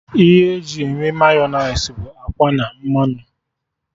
Ihe e ji eme Mayọnais bụ akwa na mmanụ